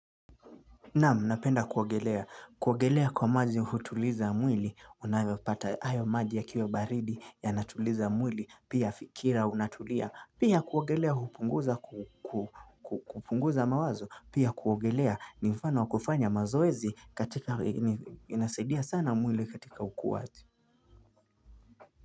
Naam, napenda kuoagelea. Kuoagelea kwa maji hutuliza mwili. Unvyopata hayo maji ya kiwa baridi ya natuliza mwili. Pia fikira unatulia. Pia kuogelea hupunguza, kupunguza mawazo. Pia kuogelea ni mfano wakufanya mazoezi katika inasaidia sana mwili katika ukuwaji.